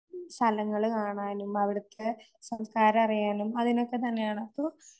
സ്ഥലങ്ങള് കാണാനും അവിടുത്തെ സംസാരറിയാനും അതിനൊക്കെ തന്നെയാണ്. അപ്പോ